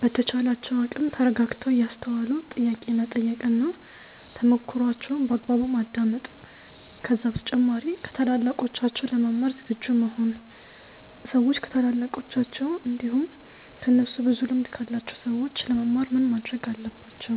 በተቻላቸው አቅም ተረጋግተው እያስተዋሉ ጥያቄ መጠየቅ እና ተሞክሮዋቸውን በአግባቡ ማዳመጥ ከዛ በተጨማሪ ከታላላቆች ለመማር ዝግጁ መሆን ሰዎች ከታላላቃቸው እንዲሁም ከእነሱ ብዙ ልምድ ካላቸው ሰዎች ለመማር ምን ማረግ አለባቸው?